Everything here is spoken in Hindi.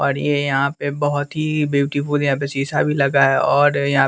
और ये यहाँ पे बहुत ही ब्यूटीफुल यहाँ पे शीशा भी लगा है और यहाँ --